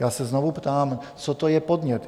Já se znovu ptám, co to je, podnět?